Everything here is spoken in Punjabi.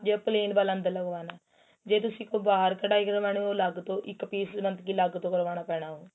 ਜੇ plain ਵਾਲਾ ਅੰਦਰ ਲੱਗਵਾਣਾ ਜੇ ਤੁਸੀਂ ਕੋਈ ਬਾਹਰ ਕੱਡਾਈ ਕਰਦੇ ਓ madam ਉਹ ਅਲੱਗ ਤੋਂ ਇੱਕ piece ਅਲੱਗ ਤੋਂ ਕਰਵਾਣਾ ਪੈਣਾ ਉਹ